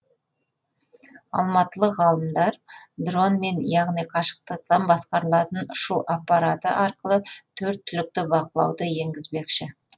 алматылық ғалымдар дронмен яғни қашықтықтан басқарылатын ұшу апараты арқылы төрт түлікті бақылауды енгізбекші